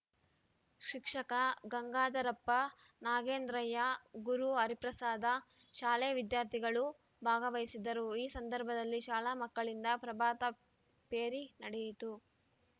ಶಿಕ್ಷಕ ಗಂಗಾಧರಪ್ಪ ನಾಗೇಂದ್ರಯ್ಯ ಗುರು ಹರಿಪ್ರಸಾದ ಶಾಲೆ ವಿದ್ಯಾರ್ಥಿಗಳು ಭಾಗವಹಿಸಿದ್ದರು ಈ ಸಂದರ್ಭದಲ್ಲಿ ಶಾಲಾ ಮಕ್ಕಳಿಂದ ಪ್ರಭಾತ ಪೇರಿ ನಡೆಯಿತು